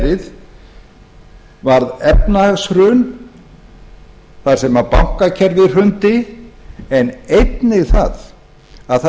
verið varð efnahagshrun þar sem bankakerfið hrundi en einnig það að þar